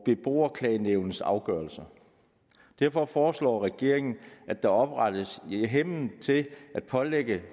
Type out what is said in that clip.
beboerklagenævnenes afgørelser derfor foreslår regeringen at der oprettes hjemmel til at pålægge